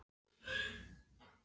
En ekki var nóg með það.